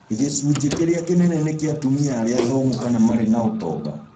Gĩcunjĩ kĩrĩa kĩnene nĩ kĩa atumia arĩa athomu kana marĩ na ũtonga